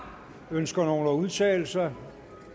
ønsker nogen at udtale sig